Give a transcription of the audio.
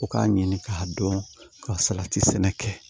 U k'a ɲini k'a dɔn ka salati sɛnɛ kɛ